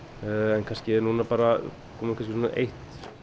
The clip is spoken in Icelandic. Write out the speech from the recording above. en kannski er núna komið eitt